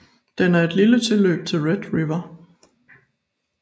Den er et tilløb til Red River